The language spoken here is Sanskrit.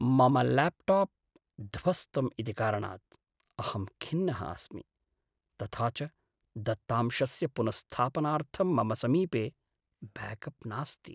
मम ल्याप्टाप् ध्वस्तम् इति कारणात् अहं खिन्नः अस्मि, तथा च दत्तांशस्य पुनःस्थापनार्थं मम समीपे ब्याकप् नास्ति।